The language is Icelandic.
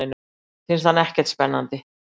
Finnst hann ekkert spennandi.